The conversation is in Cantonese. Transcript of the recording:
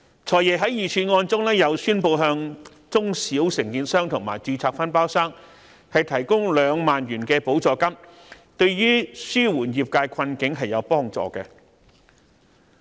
"財爺"在預算案中又宣布向中小承建商及註冊分包商提供兩萬元補助金，對於紓緩業界困境是有所幫助的。